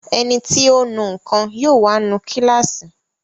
Ẹniti ó nu nǹkan yóò wá nu kíláàsì